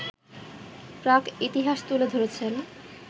প্রাক ইতিহাস তুলে ধরেছেন